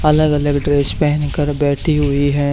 अलग अलग ड्रेस पहन कर बैठी हुई है।